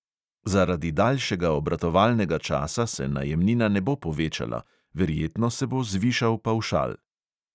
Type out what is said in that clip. Zaradi daljšega obratovalnega časa se najemnina ne bo povečala, verjetno se bo zvišal pavšal.